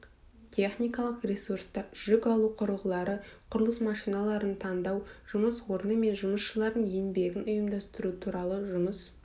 техникалық ресурста жүк алу құрылғылары құрылыс машиналарын таңдау жұмыс орны мен жұмысшылардың еңбегін ұйымдастыру туралы жұмыс